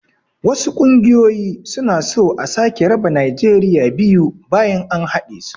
wasu ƙungoyoyi suna so a sake raba najeriya biyu bayan an haɗesu